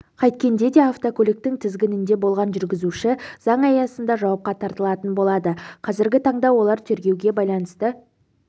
қайткенде де автокөліктің тізгінінде болған жүргізуші заң аясында жауапқа тартылатын болады қазіргі таңда олар тергеуге байланысты